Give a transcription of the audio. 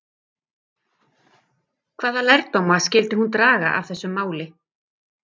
Hvaða lærdóma skyldi hún draga af þessu máli?